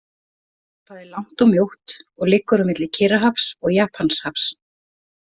Það er langt og mjótt og liggur á milli Kyrrahafs og Japanshafs.